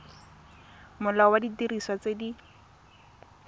molao wa didiriswa tse di